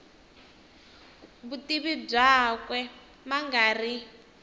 vutivi byakwe ma nga ri